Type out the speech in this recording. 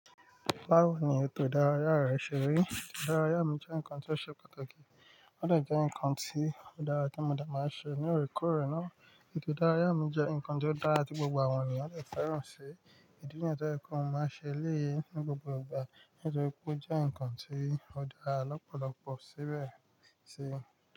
Bawo ni ètò ìdárayá rẹ ṣe rí? Ìdárayá mi jẹ́ ǹkan tí ó ṣe pàtàkì, wọ́n de jẹ́ ǹkan tí ó dára tí mo de màá ń ṣe ní ore kore náà. Ètò ìdárayá mi jẹ́ ǹkan tí ó dára tí gbogbo àwọn ènìyàn lè fẹ́ràn ṣí, ìdí nìyẹn tó ń kọ́ mo máa ń ṣe eléyìí ní gbogbo ìgbà nítorí pé ó jẹ́ ǹkan tí ó dára lọ́pọ̀lọpọ̀ síbẹ̀ sí.